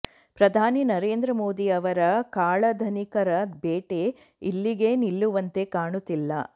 ಪ್ರಧಾನಿ ನರೇಂದ್ರ ಮೋದಿ ಅವರ ಕಾಳಧನಿಕರ ಬೇಟೆ ಇಲ್ಲಿಗೇ ನಿಲ್ಲುವಂತೆ ಕಾಣುತ್ತಿಲ್ಲ